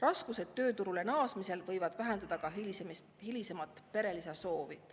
Raskused tööturule naasmisel võivad vähendada ka hilisemat perelisa soovi.